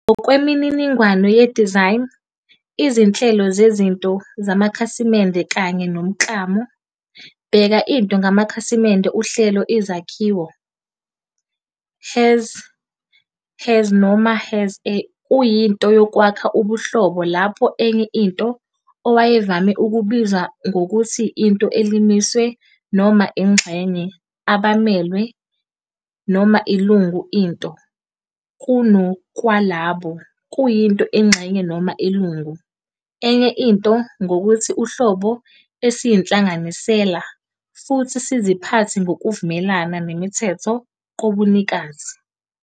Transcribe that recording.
Ngokwe mininingwane ye-design, izinhlelo zezinto-zamakhasimende kanye nomklamo, bheka into ngamakhasimende Uhlelo izakhiwo, has-a, has_a noma has a, kuyinto yokwakha ubuhlobo lapho enye into, owayevame ukubizwa ngokuthi into elimiswe, noma ingxenye - abamelwe noma ilungu into," kungokwalabo ", kuyinto ingxenye noma ilungu, enye into, ngokuthi uhlobo esiyinhlanganisela, futhi siziphathe ngokuvumelana nemithetho kobunikazi.